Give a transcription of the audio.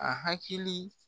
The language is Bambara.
A hakili